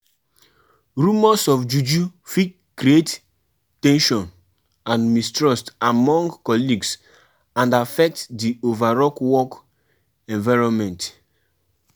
On di day of di festival go on time and make sure say say everywhere set